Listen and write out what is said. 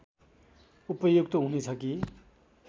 उपयुक्त हुनेछ कि